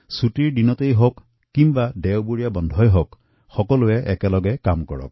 ছুটীৰ দিন বা দেওবাৰবোৰত এঠাইত একত্ৰিত হৈ একেলগে কাম কৰক